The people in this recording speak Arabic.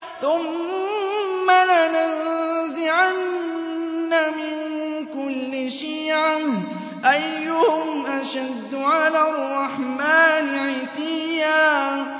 ثُمَّ لَنَنزِعَنَّ مِن كُلِّ شِيعَةٍ أَيُّهُمْ أَشَدُّ عَلَى الرَّحْمَٰنِ عِتِيًّا